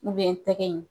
tɛgɛ in